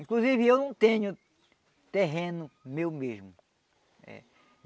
Inclusive eu não tenho terreno meu mesmo. É